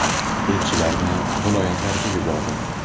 Elchilarni viloyatlarga yubordim.